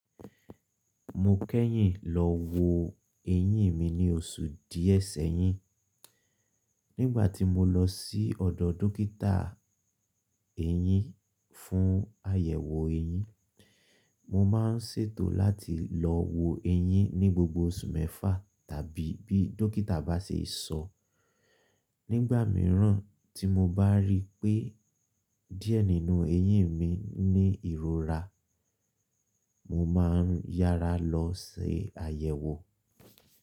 Mo kẹ́yìn lọ wo eyín mi ní oṣù díẹ̀ sẹ́yìn. Nígbà tí mo lọ sí ọ̀dọ̀ dókítà eyín fún àyẹ̀wò eyín, mo máa ń ṣètò láti lọ wo eyín ní gbogbo oṣù mẹ́fà tàbí bí dókítà bá ṣe sọ. Nígbà mìíràn tí mo bá rí pé díẹ̀ nínú eyín mi ní ìrora, mo máa ń yára lọ se àyẹ̀wò.